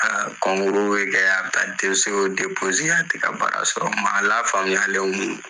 Aa bɛ kɛ a bɛ taa a tɛ ka baara sɔrɔ k'a sɔrɔ maa la faamuyalen kun don!